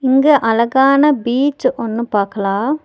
இங்க அழகான பீச் ஒன்னு பாக்கலா.